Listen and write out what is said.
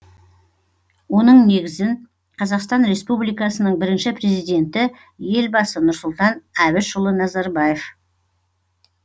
оның негізін қазақстан республикасының бірінші президенті елбасы нұрсұлтан әбішұлы назарбаев